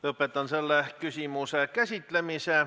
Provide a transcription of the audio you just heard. Lõpetan selle küsimuse käsitlemise.